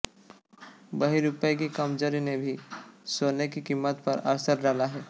वहीं रुपए की कमजोरी ने भी सोने की कीमत पर असर डाला है